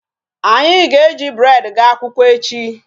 Anyị ga-eji bread gaa akwụkwọ echi.